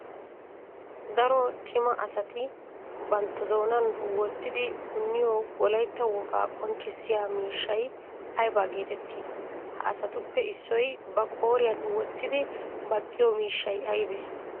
Daro cima asatti bantta doonan wotiddi puniyo wolaytta wogaa qonccissiyaa miishshay aybba geetetti? Ha asattuppe issoy ba qooriyan wotiddi baqiyo miishshay aybbe?